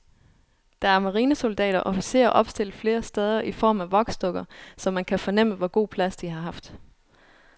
Der er marinesoldater og officerer opstillet flere steder i form af voksdukker, så man kan fornemme, hvor god plads de har haft.